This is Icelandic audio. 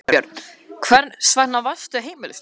Þorbjörn: Hvers vegna varðstu heimilislaus?